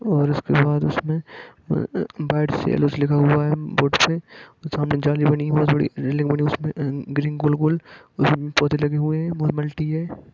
और झंडे लगे हैं और उस के बाद उस में हम्म बेइट से एलोस लिखा हुआ हैं बोर्ड पे सामने झाली बानि हुई हैं बानि उसमे ग्रीन गोल गोल--